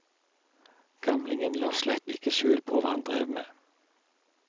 Gamlingen la slett ikke skjul på hva han drev med.